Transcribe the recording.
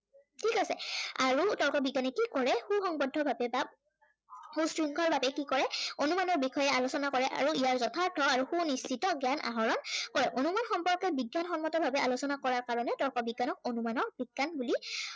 ঠিক আছে, আৰু তৰ্ক বিজ্ঞানে কি কৰে সু সঙ্গৱদ্ধভাৱে বা, সুশৃংখল ভাৱে কি কৰে, অনুমানৰ বিষয়ে আলোচনা কৰে আৰু ইয়াৰ যথাৰ্থ আৰু সু নিশ্চিত জ্ঞান আহৰণ কৰে। অনুমান সম্পৰ্কে বিজ্ঞান সন্মতভাৱে আলোচনা কৰা কাৰনে তৰ্ক বিজ্ঞানক অনুমান বিজ্ঞান বুলি